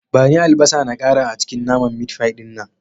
Bani albasa na ƙara a cikin naman mitfai din nan